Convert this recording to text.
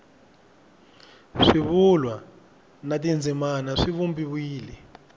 swivulwa na tindzimana swi vumbiwile